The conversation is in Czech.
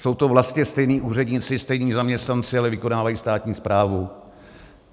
Jsou to vlastně stejní úředníci, stejní zaměstnanci, ale vykonávají státní správu.